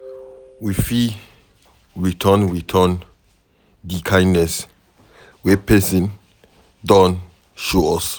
we fit return Return di kindness wey person don show us